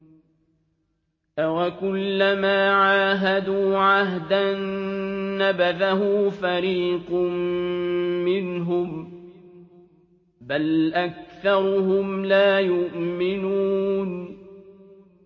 أَوَكُلَّمَا عَاهَدُوا عَهْدًا نَّبَذَهُ فَرِيقٌ مِّنْهُم ۚ بَلْ أَكْثَرُهُمْ لَا يُؤْمِنُونَ